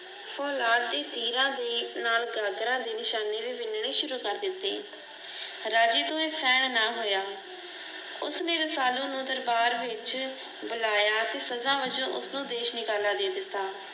ਤੀਰਾਂ ਦੇ ਨਾਲ ਗਾਗਰਾਂ ਦੇ ਨਿਸ਼ਾਨੇ ਵੀ ਵਿੰਨਣੇ ਸ਼ੁਰੂ ਕਰ ਦਿੱਤੇ। ਰਾਜੇ ਕੋਲੋਂ ਆਹ ਸਹਿਣ ਨਾਂ ਹੋਇਆ ਉਸ ਨੇਂ ਰਸਾਲੂ ਨੂੰ ਦਰਬਾਰ ਵਿੱਚ ਬੁਲਾਇਆ ਤੇ ਸਦਾ ਬਜੌ ਉਸਨੂੰ ਦੇਸ਼ਨਕਾਲਾ ਦੇ ਦਿੱਤਾ।